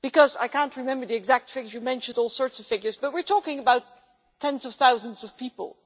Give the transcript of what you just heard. I cannot remember the exact figures, you mentioned all sorts of figures, but we are talking about tens of thousands of people.